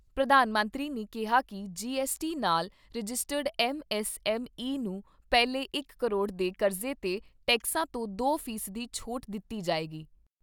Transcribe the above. ਪ੍ਰਧਾਨ ਮੰਤਰੀ ਨੇ ਕਿਹਾ ਕਿ ਜੀ ਐੱਸਟੀ ਨਾਲ registered M S M E ਨੂੰ ਪਹਿਲੇ ਇਕ ਕਰੋੜ ਦੇ ਕਰਜ਼ੇ ਤੇ ਟੈਕਸਾਂ ਤੋਂ ਦੋ ਫ਼ੀਸਦੀ ਛੋਟ ਦਿੱਤੀ ਜਾਏਗੀ।